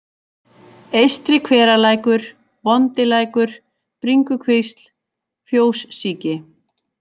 Eystri-Hveralækur, Vondilækur, Bringukvisl, Fjóssíki